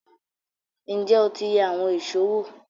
Ǹjẹ́ o ti yẹ àwọn èṣó wò?